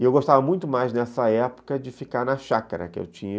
E eu gostava muito mais nessa época de ficar na chácara que eu tinha.